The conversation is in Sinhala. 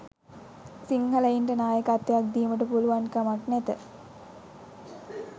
සිංහලයින්ට නායකත්වයක් දීමට පුලුවන්කමක් නැත